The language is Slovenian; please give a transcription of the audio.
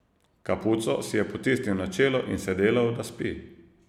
Kapuco si je potisnil na čelo in se delal, da spi.